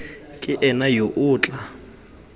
ke ena yo o tla